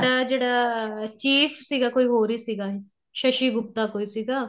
ਜਿਹੜਾ chief ਸੀਗਾ ਕੋਈ ਹੋਰ ਈ ਸੀਗਾ ਸਸ਼ੀ ਗੁਪਤਾ ਕੋਈ ਸੀਗਾ